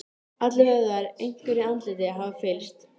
Konan roðnaði og hvíslaði einhverju að þreifingar- matrónunni.